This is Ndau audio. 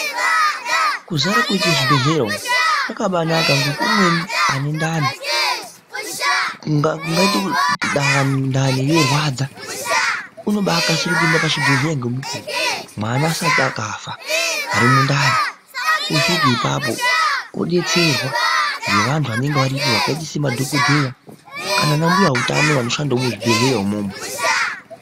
Kuzara koite zvibhedhlera umu kwakabainaka ngekuti umweni ane ndani . kungaita dangani ndani yorwadza unobaakasira kuenda pachibhedhleya ngemukuwo, mwana asati akafa ari mundani .Osvike ipapo odetserwa ngevanhu vanenge vari ipapo vakaita sema dhokodheya kana ana mbuya utano vanoshandawo muzvibhedhleya imwomo.